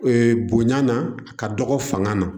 bonya na a ka dɔgɔ fanga na